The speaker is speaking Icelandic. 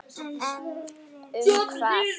En um hvað?